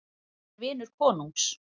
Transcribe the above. Hann er vinur konungs.